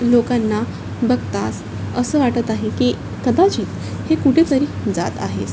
लोकाना बगतास असं वाटत आहे की कदाचित हे कुठे तरी जात आहेस.